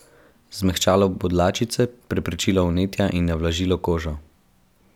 Zmehčalo bo dlačice, preprečilo vnetja in navlažilo kožo.